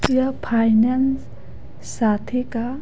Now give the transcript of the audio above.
यह फाइनेंस साथी का--